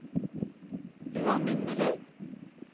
ualminnelig